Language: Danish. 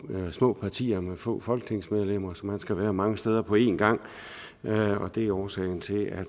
små partier med få folketingsmedlemmer så man skal være mange steder på en gang og det er årsagen til at